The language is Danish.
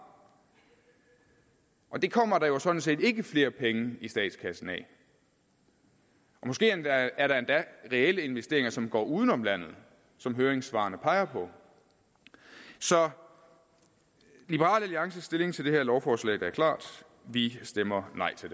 og det kommer der er jo sådan set ikke flere penge i statskassen af måske er der endda reelle investeringer som går uden om landet som høringssvarene peger på så liberal alliances stilling til det her lovforslag er klar vi stemmer nej til